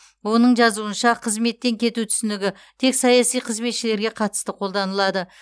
оның жазуынша қызметтен кету түсінігі тек саяси қызметшілерге қатысты қолданылады